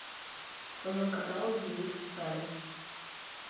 в твоем каталоге есть салем